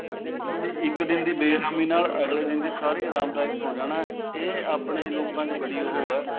ਤੁਹਾਡੀ ਇੱਕ ਦਿਨ ਦੀ ਬੇਰਹਿਮੀ ਨਾਲ ਅਗਲੇ ਦਿਨ ਦੀ ਸਾਰੀ ਆਰਾਮਦਾਇਕ ਹੋ ਜਾਣਾ ਇਹ ਆਪਣੇ ਲੋਕਾਂ ਚ ਬੜੀ ਉਹ ਐ